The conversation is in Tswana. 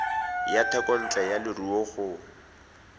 ya thekontle ya leruo go